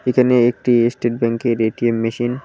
এখানে একটি এস্টেট ব্যাংকের এ_টি_এম মেশিন --